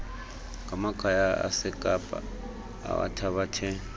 ngamakhaya asekapa awathabathe